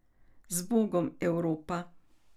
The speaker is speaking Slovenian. Zbogom, Evropa.